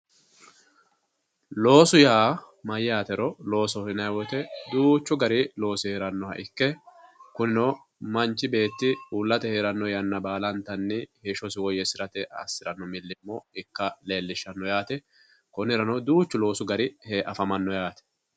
Loosu yaa mayatero, loosoho yinnanni woyte duuchu gari loosi heeranoha ikke kunino manchi beetti uullate heerano yanna baalanta heeshshosi woyyeesirate assirano milimilo ikka leelishano yaate, konirano duuchu loosu gari afamano yaate.